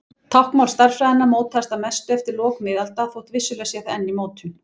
Táknmál stærðfræðinnar mótaðist að mestu eftir lok miðalda þótt vissulega sé það enn í mótun.